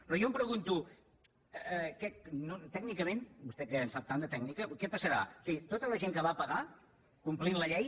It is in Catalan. però jo em pregunto tècnicament vostè que en sap tant de tècnica què passarà o sigui a tota la gent que va pagar complint la llei